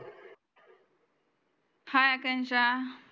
हाय आकांक्षा